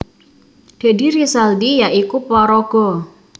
Deddy Rizaldi ya iku paraga